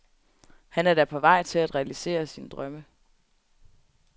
Han er da på vej til at realisere sine drømme.